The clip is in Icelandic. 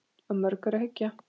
Að mörgu er að hyggja.